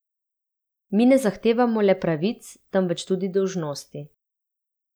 Mi ne zahtevamo le pravic, temveč tudi dolžnosti.